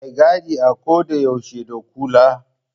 Mai gadi a ko da yaushe da kula.